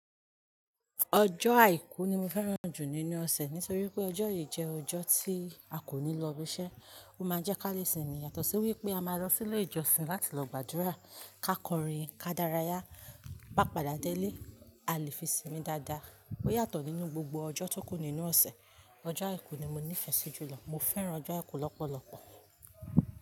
Ọjọ́ àìkú ni mo fẹ́ràn jù nínú ọ̀sẹ̀ nítorí pé ọjọ́ yìí jẹ́ ọjọ́ tí a kò ní lọ ibiṣẹ́. Ó máa jẹ́ ká lè sinmi yàtọ̀ sí wípé a máa lọ sí ilé ìjọsìn láti lọ gbàdúrà ká kọrin, ká dárayá. Bá padà dé ilé, a lè fi sinmi dáadáa. Ó yàtọ̀ nínú gbogbo ọjọ́ tó kù nínú ọ̀sẹ̀. Ọjọ́ àìkú ni mo nífẹ̀ẹ́ sí jùlọ. Mo fẹ́ràn ọjọ́ àìkú lọ́pọ̀lọpọ̀.